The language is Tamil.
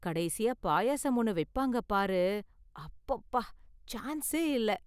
கடைசியா பாயாசம் ஒன்னு வைப்பாங்க பாரு, அப்பப்பா சான்ஸே இல்ல.